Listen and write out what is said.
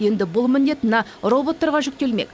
енді бұл міндет мына роботтарға жүктелмек